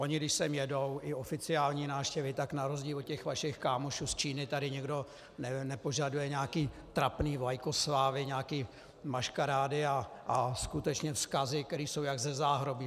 Oni když sem jedou, i oficiální návštěvy, tak na rozdíl od těch vašich kámošů z Číny tady nikdo nepožaduje nějaké trapné vlajkoslávy, nějaké maškarády a skutečně vzkazy, které jsou jako ze záhrobí.